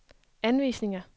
anvisninger